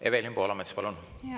Evelin Poolamets, palun!